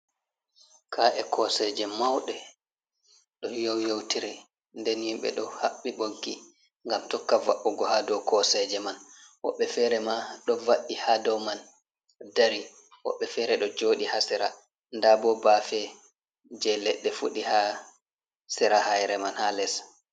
Ka’e koseje mauɗe ɗo yoyotiri nden himɓe ɗo haɓɓi ɓoggi ngam tokka yaɓugo ha dow koseje man woɓɓe fere ma ɗo va'i ha dow man dari woɓɓe fere ɗo jooɗi ha sera nda bo baafe je leɗɗe fudi ha sera haire man ha les.